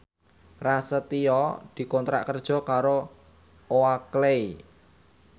Prasetyo dikontrak kerja karo Oakley